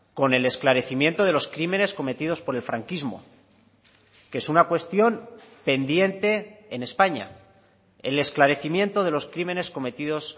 con el esclarecimiento de los crímenes cometidos por el franquismo que es una cuestión pendiente en españa el esclarecimiento de los crímenes cometidos